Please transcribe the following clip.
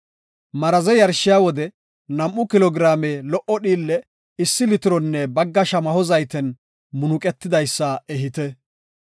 Maraze yarshiya wode nam7u kilo giraame lo77o dhiille issi litironne bagga shamaho zayten munuqetidaysa ehite.